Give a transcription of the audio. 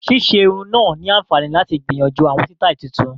Ṣíṣe irun náà ni àǹfààní láti gbìyànjú àwọn sítáì tuntun